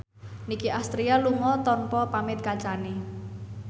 Nicky Astria lunga tanpa pamit kancane